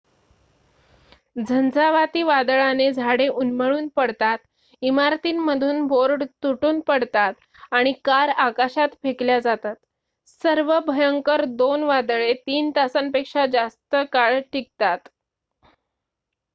झंझावाती वादळाने झाडे उन्मळून पडतात इमारतींमधून बोर्ड तुटून पडतात आणि कार आकाशात फेकल्या जातात सर्वात भयंकर 2 वादळे 3 तासांपेक्षा जास्त काळ टिकतात